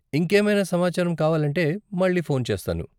ఇంకేమైనా సమాచారం కావాలంటే మళ్ళీ ఫోన్ చేస్తాను.